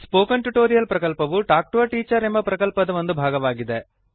spoken tutorial ಪ್ರಕಲ್ಪವು talk to a teacher ಪ್ರಕಲ್ಪದ ಒಂದು ಭಾಗವಾಗಿದೆ